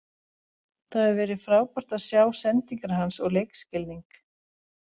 Það hefur verið frábært að sjá sendingar hans og leikskilning.